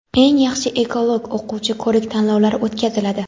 "Eng yaxshi ekolog o‘quvchi" ko‘rik tanlovlari o‘tkaziladi.